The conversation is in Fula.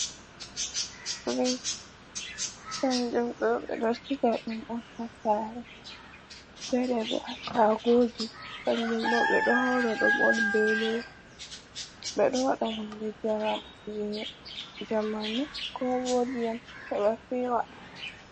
Drinks kanjan dot ɓe ɗo siga ɗum on ha sare, fere ɓo shagoji kanjun ɓo ɓe ɗo hawrs ɗum on ɓeɗo wada hunde jamanu ko bo ndiyam heɓa fewa.